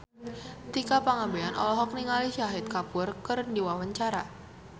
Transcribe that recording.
Tika Pangabean olohok ningali Shahid Kapoor keur diwawancara